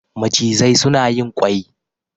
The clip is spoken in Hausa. macizai suna yin ƙwai